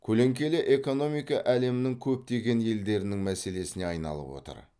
көлеңкелі экономика әлемің көптеген елдерінің мәселесіне айналып отыр